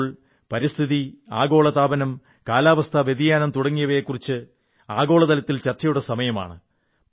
ഇപ്പോൾ പരിസ്ഥിതി ആഗോള താപനം കാലാവസ്ഥാ വ്യതിയാനം തുടങ്ങിയവയെക്കുറിച്ച് ആഗോളതലത്തിൽ ചർച്ചയുടെ സമയമാണ്